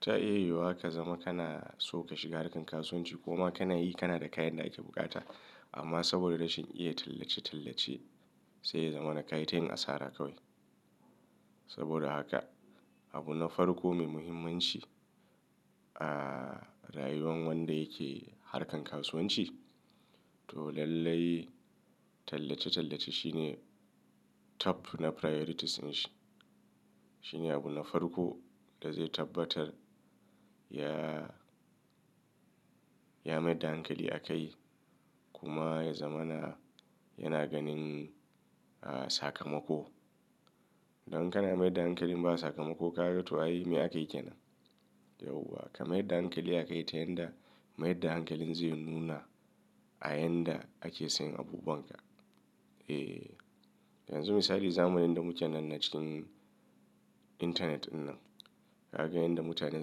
ta iyewa ka zama kana so ka shiga harkar kasuwanci kuma kana yi, kana da kayan da ake bukata amma saboda rashin iya tallace-tallace zai zama na kayatun asara kawai. Saboda haka abu na farko mai muhimmanci a rayuwar wanda yake harkar kasuwanci to lallai tallace-tallace shine top na priorities ne shi. Shine abu na farko da zai tabbatar ya maida hankali a kai kuma ya zama na yana ganin sakamako. Dan kana mai da hankali ba sakamako ka ga to ai me akeyi kaina? Yauwa ka mai da hankali a kai ta yanda mai da hankalin zai nuna a yanda ake sayan abubanka. E, yanzu misali zamani da muke nan a cikin internet ɗin nan, ka ga yadda mutanen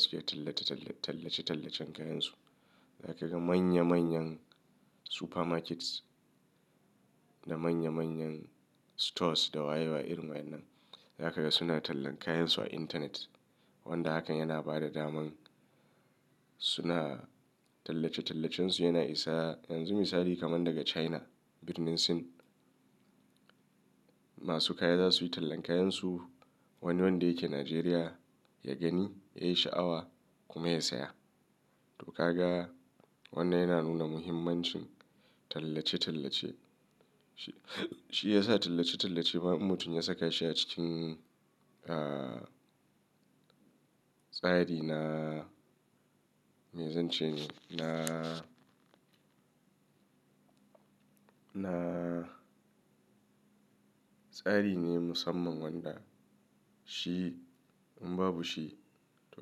suke tallace-tallacen kayansu. Za ka ga manya manyan supermarkets da manya manyan stores da wayewa irin wa'inan. Za ka ga suna tallan kayansu a intanet wanda hakan yana ba da daman suna tallace-tallacen su yana isa yanzu misali kamar daga China, Vietnam masu kaya za su yi tallan kayansu wani wanda yake Najeriya ya gani ya yi sha'awa kuma ya saya. To ka ga wannan yana nuna muhimmancin tallace-tallace. Shi ya sa tallace-tallace ba mutum ya saka shi a cikin, ah, tsari na, me zan ce ni, na, na tsari ne musamman wanda shi in babu shi to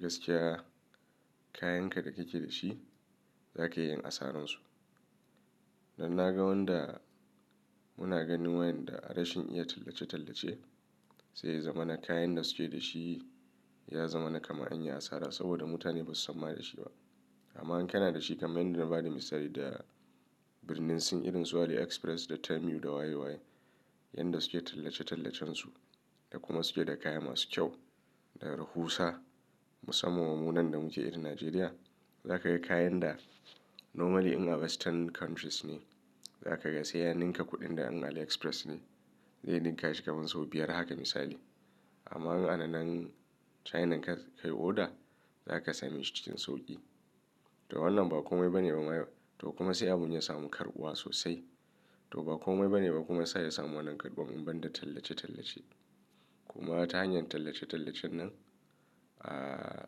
gaskiya kayanka da kike da shi zaka iya yin asaransu. Dan na ga wanda muna ganin wayanda rashin iya tallace-tallace zai zama na kayan da suke da shi ya zama na kama anyin asara saboda mutane ba su sanma da shi ba. Amma in kana da shi kamar yanda na ba da misali da Birnin irin su AliExpress da Temu da waye waye yanda suke tallace-tallacen su da kuma suke da kaya masu kyau da rahusa musamman ma mu nan da muke irin Najeriya. Za ka ga kayan da normally in a western countries ne za ka ga sai ya ninka kuɗin da an AliExpress ne zai ninka shi kamar sau biyar haka misali. Amma in a nan China ka kai oda za ka sami shi cikin sauƙi. To wannan ba komai ba ne ba kuma sai abun ya samu karɓuwa sosai to ba komai ba ne ba kuma sai ya samu wannan karɓuwa in ban da tallace-tallace. Kuma ta hanyar tallace-tallacen nan, ah,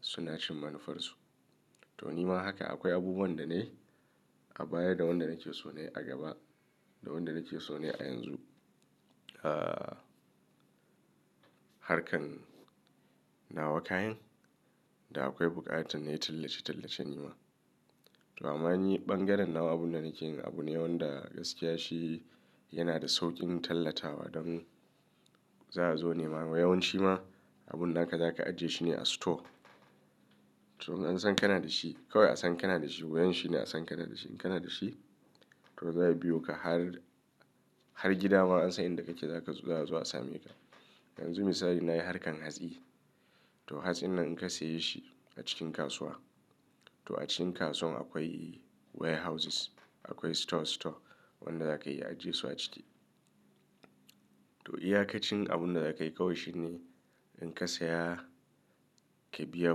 suna cin manufarsu. To nima haka akwai abubuwan da na yi a baya da wanda nake so ne a gaba da wanda nake so ne a yanzu. Ah, harkar nawa kayan da akwai buƙatar ne tallace-tallacen nima. To amma in yi ɓangaren nawa abun da nake yi abu ne wanda gaskiya shi yana da sauƙin tallatawa don za a zo nema. Wai yawanci ma abun naka za ka ajiye shi ne a store. To an san kana da shi kawai an san kana da shi. Wayen shi ne an san kana da shi. In kana da shi to za a biyo ka har, har gida ma an san inda kake za ka zo a same ka. Yanzu misali na yi harkar hatsi. To hatsin nan in ka saye shi a cikin kasuwa to a cikin kasuwan akwai warehouses, akwai store store wanda za ka iya ajiye su a ciki. To iya ka cin abunda za ka yi kawai shine in ka saya ka biya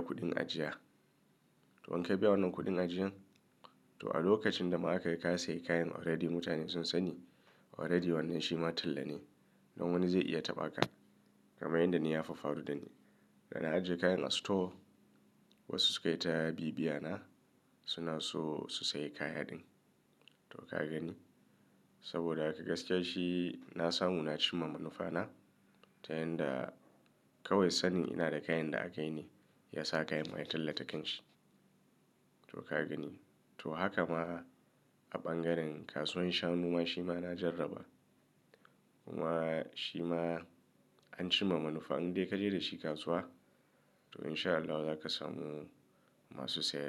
kuɗin ajiya. To in ka biya wannan kuɗin ajiyan to a lokacin da muka kai ka sayi kayan already mutane sun sani already wannan shi ma talla ne. Don wani zai iya taɓa ka kamar yanda ni ya faru da ni. Da na ajiye kayan a store wasu suka yi ta biya biya na suna so su sayi kayan ɗin. To ka gani saboda haka gaskiya shi na samu na ci ma manufa na ta yanda kawai sani ina da kayan da a gani ya sa kayan a yi talla da kanshi. To ka gani to haka ma a ɓangaren kasuwan shanu ma shi ma na jarraba kuma shi ma an ci ma manufa. In dai ka je da shi kasuwa to in sha Allahu za ka samu masu sayarwa.